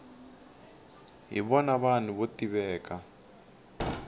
hi vona vanhu vo tiveka